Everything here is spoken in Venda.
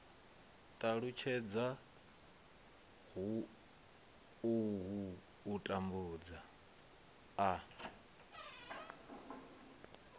ṱalutshedza uhu u tambudza a